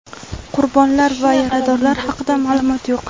Qurbonlar va yaradorlar haqida ma’lumot yo‘q.